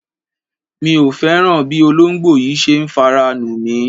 Mi ò fẹ́ràn bí olóńgbò yìí ṣe ń fara nù mí.